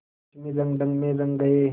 पश्चिमी रंगढंग में रंग गए